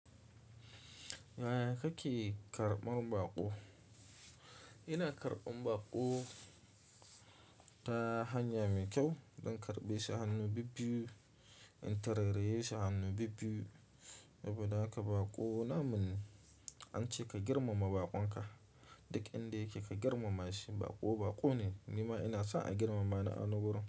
Yaya kake karɓan baƙo? Ina karɓan baƙo ta hanya mai kyau. Dan karɓe shi hannu bibiyu, in tarairaye shi hannu bibbiyu. Saboda haka baƙo namu ne an ce ka girmama baƙon ka duk inda yake ka girmama shi. Baƙo baƙo ne, ni ma ina so a girmama ni a wurin.